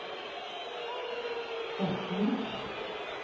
retning